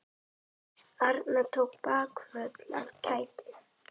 Arnar tók bakföll af kæti.